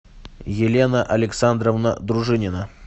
елена александровна дружинина